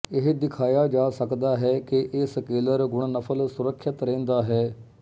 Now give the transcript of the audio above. ਇਹ ਦਿਖਾਇਆ ਜਾ ਸਕਦਾ ਹੈ ਕਿ ਇਹ ਸਕੇਲਰ ਗੁਣਨਫਲ ਸੁਰੱਖਿਅਤ ਰਹਿੰਦਾ ਹੈ